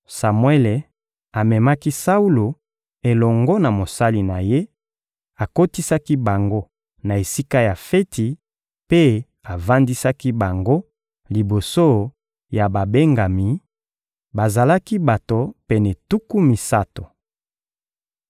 Samuele amemaki Saulo elongo na mosali na ye, akotisaki bango na esika ya feti mpe avandisaki bango liboso ya babengami: bazalaki bato pene tuku misato.